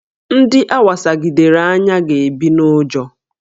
Ndị a wasagidere anya ga-ebi n'ụjọ